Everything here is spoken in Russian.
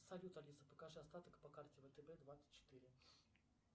салют алиса покажи остаток по карте втб двадцать четыре